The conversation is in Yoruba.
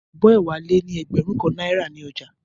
Abó̩ è̩wà kan lé ní e̩gbè̩rún kan náírà ní o̩jà